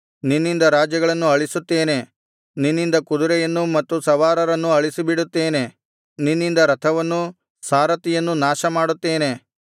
ನಿನ್ನಿಂದ ರಾಜ್ಯಗಳನ್ನು ಅಳಿಸುತ್ತೇನೆ ನಿನ್ನಿಂದ ಕುದುರೆಯನ್ನೂ ಮತ್ತು ಸವಾರನನ್ನೂ ಅಳಿಸಿಬಿಡುತ್ತೇನೆ ನಿನ್ನಿಂದ ರಥವನ್ನೂ ಸಾರಥಿಯನ್ನೂ ನಾಶಮಾಡುತ್ತೇನೆ